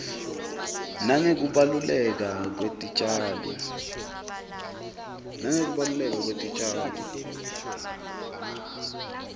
nangekubaluleka kwetitjalo